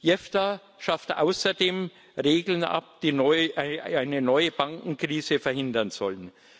JEFTA schafft außerdem Regeln ab, die eine neue Bankenkrise verhindern sollen.